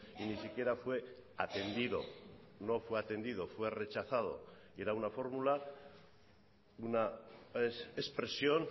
y ni siquiera fue atendido no fue atendido fue rechazado y era una fórmula una expresión